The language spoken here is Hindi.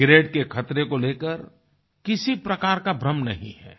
सिगारेट के खतरे को लेकर किसी प्रकार का भ्रम नहीं है